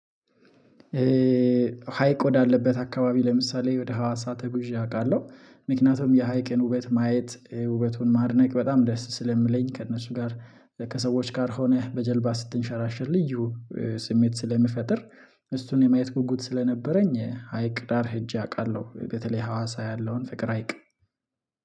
ሀይቅ ወዳለበት አካባቢ ለምሳሌ ወደ ሀዋሳ ተጉዤ አውቃለሁ። ምክንያቱም የሀይቅን ውበት ማየት ውበቱን ማድነቅ በጣም ደስ ስለሚለኝ ከእነሱ ጋር ከሰዎች ጋር ሆነህ በጀልባ ስትንሸራሸር ልዩ ስሜት ስለሚፈጥር። እሱን የማየት ጉጉት ስለነበረኝ ሀይቅ ዳር ሄጄ አውቃለሁ። በተለይ ሀዋሳ ያለውን ፍቅር ሀይቅ